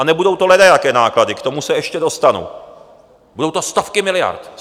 A nebudou to ledajaké náklady, k tomu se ještě dostanu, budou to stovky miliard.